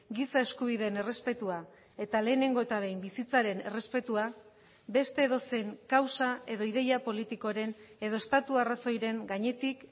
giza eskubideen errespetua eta lehenengo eta behin bizitzaren errespetua beste edozein kausa edo ideia politikoren edo estatu arrazoiren gainetik